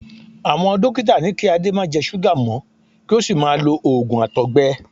Àwọn dókítà ní kí Ade má jẹ súgà mọ́ kí ó sì máa lo òògùn àtọ̀gbẹ.